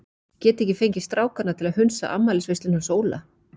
Ég get ekki fengið strákana til að hunsa afmælisveisluna hans Óla.